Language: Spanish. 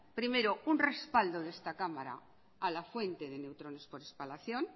primero un respaldo de esta cámara a la fuente de neutrones por espalación